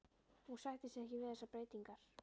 Hún sætti sig ekki við þessar breytingar!